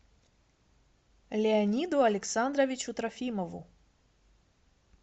леониду александровичу трофимову